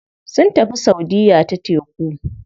Sun tafi saudiya ta teku.